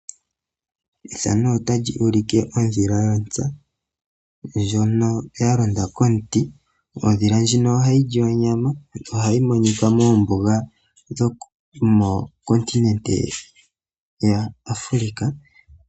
Ethano otali ulike ondhila lyontsa ndjono ya londa komuti . Ondhila ndjino ohayi li onyama yo ohayi monika moombuga dhomokoninete yaAfrika.